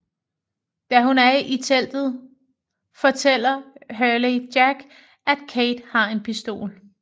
Da hun er i teltet fortæller Hurley Jack at Kate har en pistol